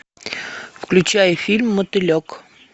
включай фильм мотылек